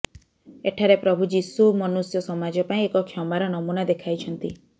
ଏଠାରେ ପ୍ରଭୁ ଯିଶୁ ମନୁଷ୍ୟ ସମାଜ ପାଇଁ ଏକ କ୍ଷମାର ନମୁନା ଦେଖାଇଛନ୍ତି